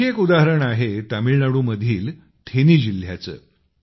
आणखी एक उदाहरण आहे तमिळनाडूमधील थेनी जिल्ह्याचे